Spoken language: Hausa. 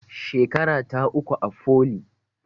Shekarata uku a foli